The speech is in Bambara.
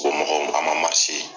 Ko a man